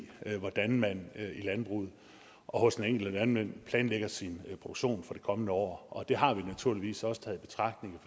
hvordan man i landbruget og hos den enkelte landmand planlægger sin produktion for det kommende år og det har vi naturligvis også taget i betragtning